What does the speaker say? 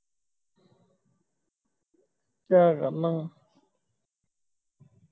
ਤੈ ਕਰਨਾ ਵਾ